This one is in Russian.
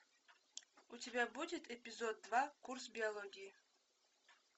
у тебя будет эпизод два курс биологии